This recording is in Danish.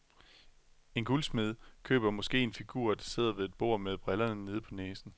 En guldsmed køber måske en figur, der sidder ved et bord med brillerne nede på næsen.